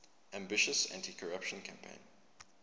ambitious anticorruption campaign